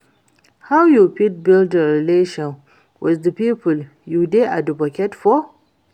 How you fit build relationship with di people you dey advocate for?